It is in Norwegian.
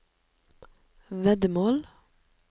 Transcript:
veddemål